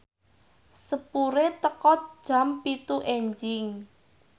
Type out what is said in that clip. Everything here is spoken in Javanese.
sepure teka jam pitu enjing